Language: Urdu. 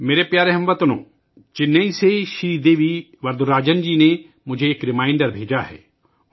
میرے پیارے ہم وطنو، چنئی سے سری دیوی وردراجن جی نے مجھے ایک ریمائنڈر بھیجا ہے